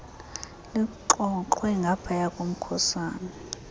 lixoxwe ngaphaya komkhusane